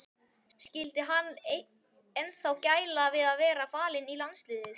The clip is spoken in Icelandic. Skyldi hann ennþá gæla við að vera valinn í landsliðið?